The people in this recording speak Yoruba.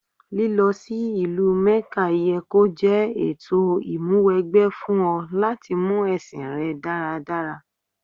Lílọ sí ìlú Mẹ́kà ye kó jẹ́ ètò ìmúwẹgbẹ́ fún ọ láti mú ẹ̀sìn rẹ dáradára.